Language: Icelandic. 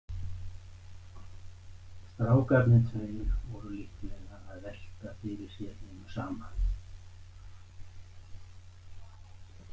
Strákarnir tveir voru líklega að velta fyrir sér hinu sama.